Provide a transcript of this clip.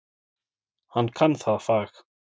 Hann kann það fag.